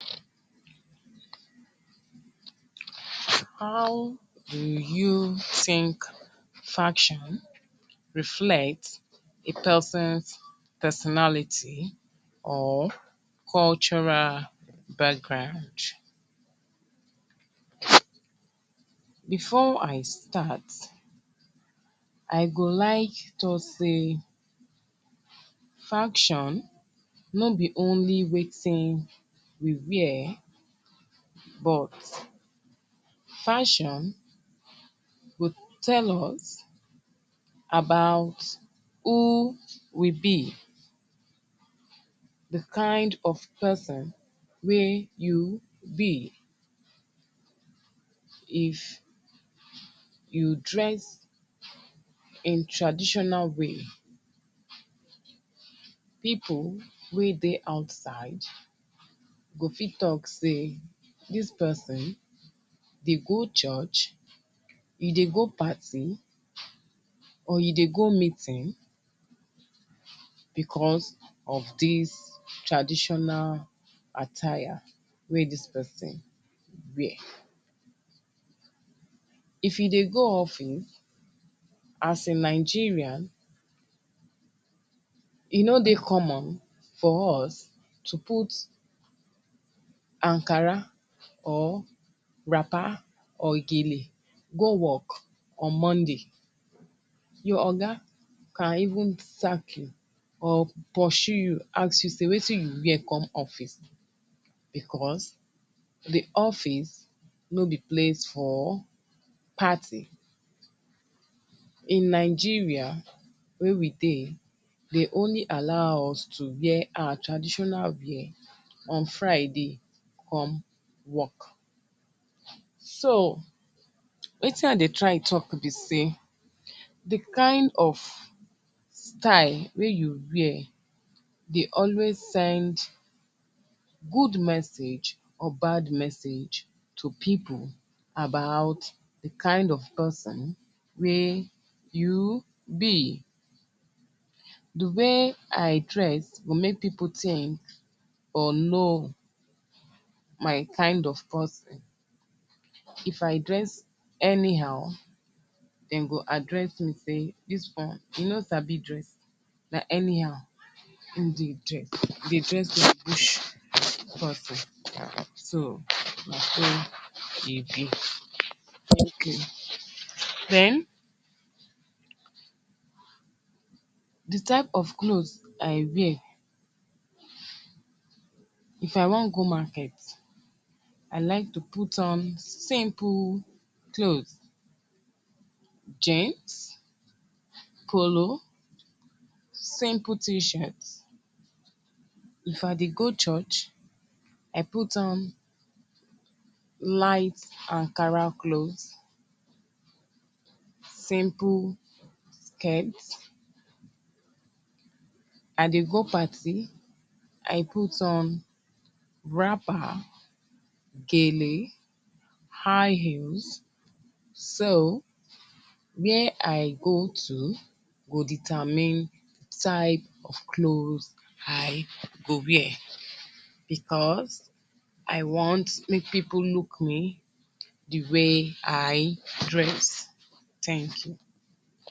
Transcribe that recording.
How do you think fashion reflect a pesin's personality or cultural background? Before I start, I go like talk sey fashion no be only wetin we wear, but fashion go tell us about who we be—di kain of pesin wey you be. If you dress in traditional way, pipu wey dey outside go fit talk sey dis pesin dey go church, you dey go party or you dey go meeting becos of dis traditional attire wey dis pesin wear. If you dey go office, as a Nigerian, e no dey common for us to put ankara, or wrapper, or gele go work on Monday. Your oga can even sack you or pursue you ask you sey wetin you wear come office? Becos di office no be place for party. In Nigeria wey we dey, de only allow us to wear our traditional wear on Friday come work. So, wetin I dey try talk be sey di kain of style wey you wear dey always send good message or bad message to pipu about di kain of pesin wey you be. Di way I dress go make pipu think or know my kain of pesin. If I dress anyhow, dem go address me sey “Dis one, e no sabi dress. Na anyhow ein dey dress. E dey dress like bush pesin.” So, na so e be. Thank you. Then, di type of cloth I wear. If I wan go market, I like to put on simple cloth: jeans, polo, simple t-shirt. If I dey go church, I put on light ankara cloth, simple skirt. I dey go party, I put on wrapper, gele, high heels. So, where I go to go determine type of clothes I go wear becos I want make pipu look me di way I dress. Thank you